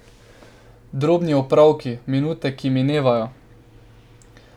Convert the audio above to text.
Drobni opravki, minute, ki minevajo.